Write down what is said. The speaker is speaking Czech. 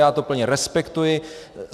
Já to plně respektuji.